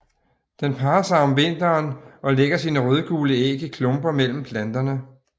Den parrer sig om vinteren og lægger sine rødgule æg i klumper mellem planterne